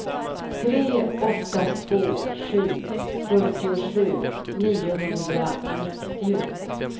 tre åtta två sju fyrtiosju niohundranittio